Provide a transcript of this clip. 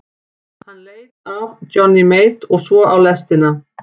Hann leit af Johnny Mate og svo á lestina.